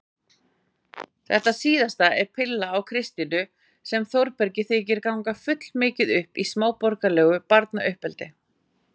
Þetta síðasta er pilla á Kristínu sem Þórbergi þykir gangast fullmikið upp í smáborgaralegu barnauppeldi.